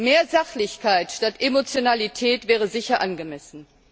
Mehr Sachlichkeit statt Emotionalität wäre sicher angemessen.